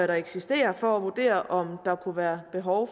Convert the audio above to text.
der eksisterer for at vurdere om der kunne være behov